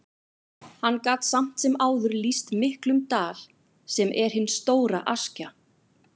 Hann gat samt sem áður lýst miklum dal, sem er hin stóra Askja.